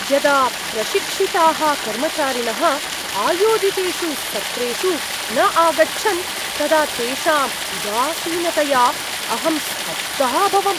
यदा प्रशिक्षिताः कर्मचारिणः आयोजितेषु सत्रेषु न आगच्छन् तदा तेषाम् उदासीनतया अहं स्तब्धः अभवम्।